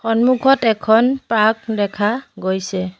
সন্মুখত এখন পাৰ্ক দেখা গৈছে।